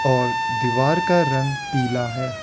और दीवार का रंग पीला है।